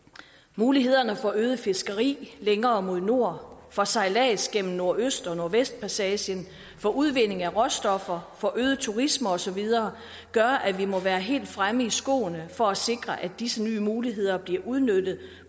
mulighederne for øget fiskeri længere mod nord for sejlads gennem nordøst og nordvestpassagen for udvinding af råstoffer for øget turisme og så videre gør at vi må være helt fremme i skoene for at sikre at disse nye muligheder bliver udnyttet